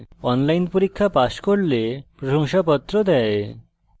online পরীক্ষা pass করলে প্রশংসাপত্র দেওয়া হয়